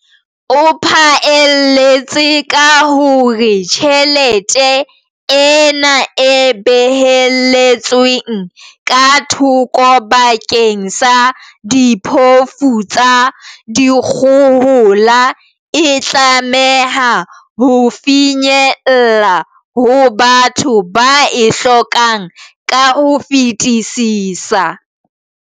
O phaelletse ka hore tjhelete ena e behelletsweng ka thoko bakeng sa diphofu tsa dikgohola e tlameha ho finyella ho batho ba e hlokang ka ho fetisisa.